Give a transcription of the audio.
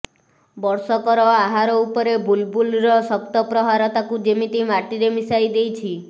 ବର୍ଷକର ଆହାର ଉପରେ ବୁଲ୍ବୁଲ୍ର ଶକ୍ତ ପ୍ରହାର ତାକୁ ଯେମିତି ମାଟିରେ ମିଶାଇ ଦେଇଛି